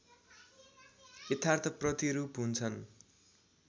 यथार्थ प्रतिरूप हुन्छन्।